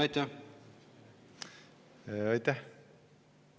Aitäh!